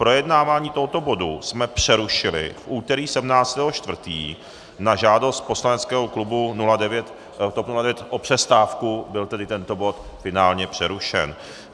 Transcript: Projednávání tohoto bodu jsme přerušili v úterý 17. 4. na žádost poslaneckého klubu TOP 09 o přestávku, byl tedy tento bod finálně přerušen.